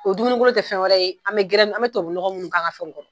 O dumunikolon tɛ fɛn wɛrɛ ye an bɛ an bɛ tobabunɔgɔ minnu k'an ka fɛnw kɔrɔ.